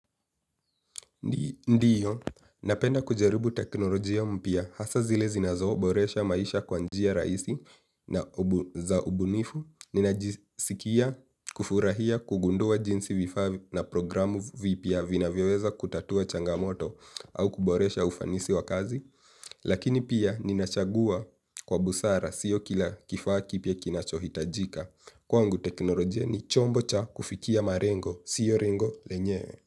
Ndiyo, napenda kujaribu teknolojia mpya hasa zile zinazoboresha maisha kwa njia rahisi na za ubunifu. Ninajisikia kufurahia kugundua jinsi vifaa na programu vipya vinavyoweza kutatua changamoto au kuboresha ufanisi wa kazi. Lakini pia ninachagua kwa busara sio kila kifaa kipya kinachohitajika. Kwangu teknolojia ni chombo cha kufikia malengo, sio lengo lenyewe.